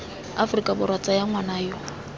aforika borwa tsaya ngwana yo